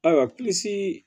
Ayiwa plisi